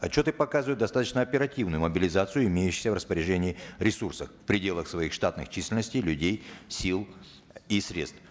отчеты показывают достаточно оперативную мобилизацию имеющихся в распоряжении ресурсов в пределах своих штатных численностей людей сил и средств